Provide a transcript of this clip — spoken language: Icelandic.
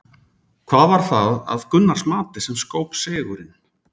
Hvað var það að Gunnars mati sem skóp sigurinn?